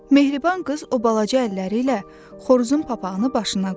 Mehriban qız o balaca əlləri ilə xoruzun papağını başına qoydu.